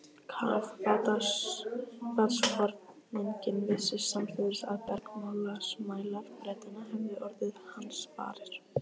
Kafbátsforinginn vissi samstundis að bergmálsmælar Bretanna hefðu orðið hans varir.